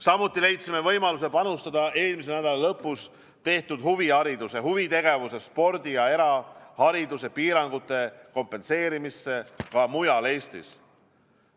Samuti leidsime võimaluse panustada eelmise nädala lõpus tehtud huvihariduse, huvitegevuse, spordi ja erahariduse piirangute kompenseerimisse ka mujal Eestis.